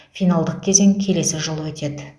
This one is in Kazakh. финалдық кезең келесі жылы өтеді